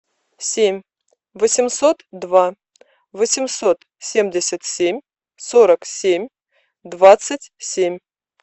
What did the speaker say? семь восемьсот два восемьсот семьдесят семь сорок семь двадцать семь